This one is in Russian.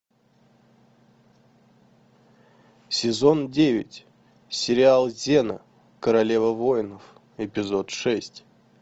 сезон девять сериал зена королева воинов эпизод шесть